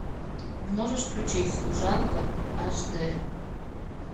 можешь включить служанка аш дэ